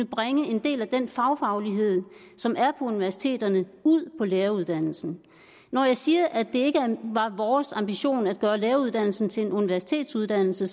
bringe en del af den fagfaglighed som er universiteterne ud på læreruddannelsen når jeg siger at det ikke var vores ambition at gøre læreruddannelsen til en universitetsuddannelse